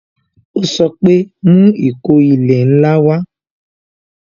Ó sọ pé "Mú ìkó ilẹ̀ ńlá wa"